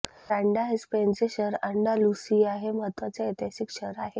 Grenada हे स्पेनचे शहर अँंडालुसिया हे महत्त्वाचे ऐतिहासिक शहर आहे